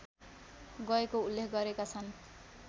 गएको उल्लेख गरेका छन्